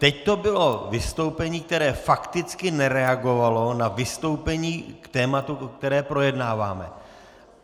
Teď to bylo vystoupení, které fakticky nereagovalo na vystoupení k tématu, které projednáváme.